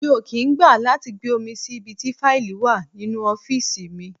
Mi ò kì í gbà láti gbé omi sí ibi tí faili wà nínú ọ́fíìsì mi.